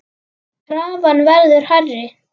Krafan verður hærri.